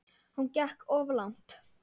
Hún gekk of langt.